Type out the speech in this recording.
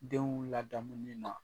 Denw ladamuni ma